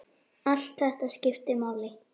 Allt þetta skiptir máli.